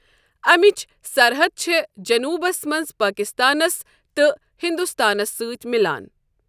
امچ سرحد چھ جنوٗبَس مَنٛز پٲکِستانس تہٕ ہِندوستانس سۭتۍ مِلان۔